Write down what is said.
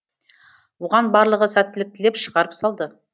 оған барлығы сәттілік тілеп шығарып салды